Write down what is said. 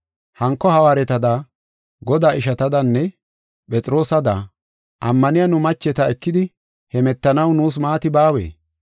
Hanko hawaaretada, Godaa ishatadanne Phexroosada, ammaniya nu macheta ekidi hemetanaw nuus maati baawee?